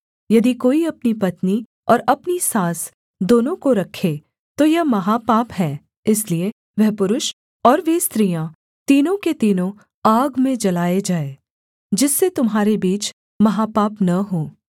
यदि कोई अपनी पत्नी और अपनी सास दोनों को रखे तो यह महापाप है इसलिए वह पुरुष और वे स्त्रियाँ तीनों के तीनों आग में जलाए जाएँ जिससे तुम्हारे बीच महापाप न हो